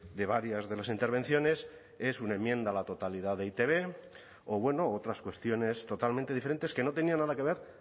de varias de las intervenciones es una enmienda a la totalidad de e i te be o bueno otras cuestiones totalmente diferentes que no tenían nada que ver